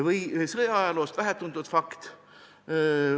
" Või siis üks sõjaajaloost vähetuntud fakt.